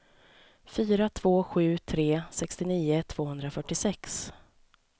fyra två sju tre sextionio tvåhundrafyrtiosex